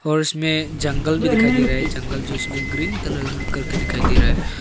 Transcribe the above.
और उसमें जंगल भी दिखाई दे रहा है जंगल जो उसमें ग्रीन कलर करके दिखाई दे रहा है।